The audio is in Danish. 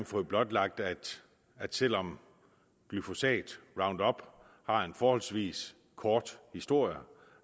fået blotlagt at at selv om glyfosat roundup har en forholdsvis kort historie